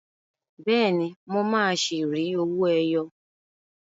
Bẹ́ẹ̀ni, mo máa ṣi rí owó ẹyọ.